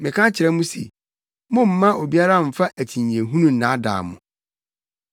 Meka kyerɛ mo se mommma obiara mfa akyinnyehunu nnaadaa mo.